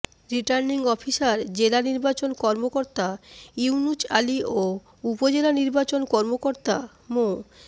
returning officer জেলা নির্বাচন কর্মকর্তা ইউনুচ আলী ও উপজেলা নির্বাচন কর্মকর্তা মো